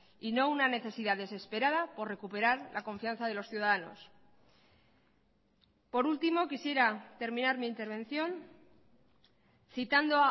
y no una necesidad desesperada por recuperar la confianza de los ciudadanos por último quisiera terminar mi intervención citando